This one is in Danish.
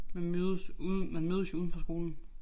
Man mødes ude man mødes jo udenfor skolen